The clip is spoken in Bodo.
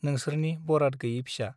नोंसोरनि बराद गैयै फिसा ।